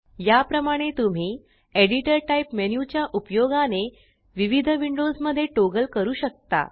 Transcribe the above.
या प्रमाणे तुम्ही एडिटर टाइप मेन्यु च्या उपयोगाने विविध विंडोज मध्ये टॉगल करू शकता